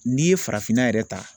N'i ye farafinna yɛrɛ ta